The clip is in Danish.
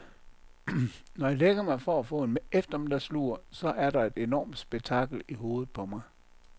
Når jeg lægger mig for at få en eftermiddagslur, så er der et enormt spektakel i hovedet på mig.